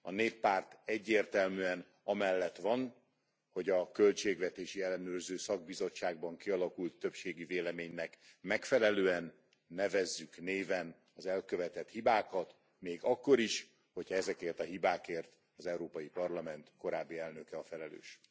A Néppárt egyértelműen amellett van, hogy a költségvetési ellenőrző szakbizottságban kialakult többségi véleménynek megfelelően nevezzük néven az elkövetett hibákat, még akkor is, hogyha ezekért a hibákért az Európai Parlament korábbi elnöke a felelős.